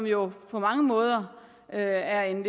jo på mange måder er en